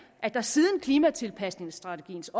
at der siden klimatilpasningsstrategiens